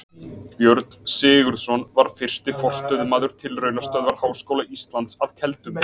Björn Sigurðsson var fyrsti forstöðumaður Tilraunastöðvar Háskóla Íslands að Keldum.